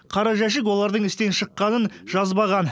қара жәшік олардың істен шыққанын жазбаған